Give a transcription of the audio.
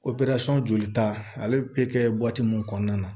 jolita ale bɛ kɛ mun kɔnɔna na